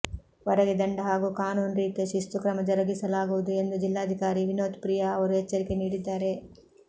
ವರೆಗೆ ದಂಡ ಹಾಗೂ ಕಾನೂನು ರೀತ್ಯ ಶಿಸ್ತು ಕ್ರಮ ಜರುಗಿಸಲಾಗುವುದು ಎಂದು ಜಿಲ್ಲಾಧಿಕಾರಿ ವಿನೋತ್ ಪ್ರಿಯಾ ಅವರು ಎಚ್ಚರಿಕೆ ನೀಡಿದ್ದಾರೆ